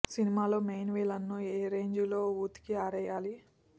సినిమాలో main villain ను ఏ రేంజ్ లో ఉతికి ఆరేయాలి